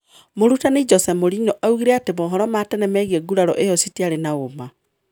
Mũrutani Jose Mourinho augire ati mohoro ma tene migie nguraro iyo citiari na uma